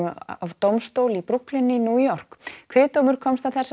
af dómstól í Brooklyn í New York kviðdómur komst að þessari